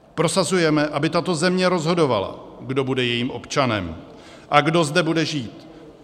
Prosazujeme, aby tato země rozhodovala, kdo bude jejím občanem a kdo zde bude žít.